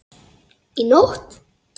Í nótt?